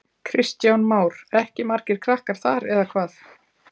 Kristján Már: Ekki margir krakkar þar eða hvað?